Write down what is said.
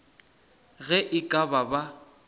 ge e ka ba ba